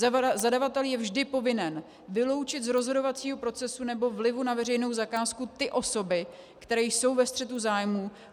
Zadavatel je vždy povinen vyloučit z rozhodovacího procesu nebo vlivu na veřejnou zakázku ty osoby, které jsou ve střetu zájmů.